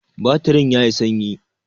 Batirin yayi sanyi.